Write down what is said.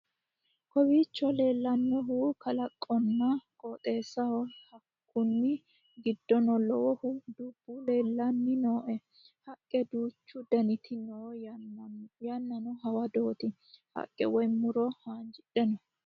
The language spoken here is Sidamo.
kowiicho leellannohu kalaqonna qooxeessaho hakkunni giddono lowohu dubbu leellanni nooe haqqe duuchu daniti no yannanno hawadooti haqqe woy muro haanjjidhe no